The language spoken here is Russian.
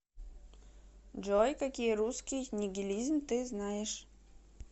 джой какие русский нигилизм ты знаешь